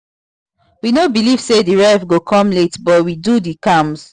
we no believe say the ref go come late but we do the calms